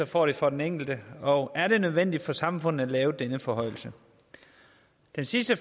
får det for den enkelte og er det nødvendigt for samfundet at lave denne forhøjelse den sidste